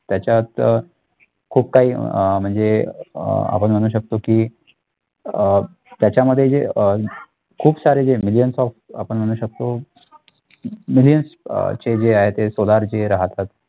त्याच्यात खूप काही अह म्हणजे अह आपण म्हणू शकतो की अह त्याच्यामध्ये जे अह खूप सारे जे millions of आपण म्हणू शकतो millions अह चे जे आहे ते solar जे राहतात